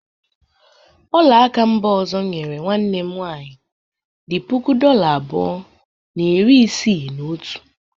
ọla aka mba ọzọ m nyere nwanne m nwaanyị dị puku dola abụọ na iri isii na otu.